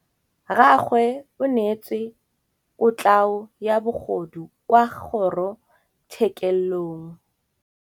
Rragwe o neetswe kotlhaô ya bogodu kwa kgoro tshêkêlông.